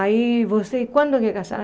Aí você, quando quer casar?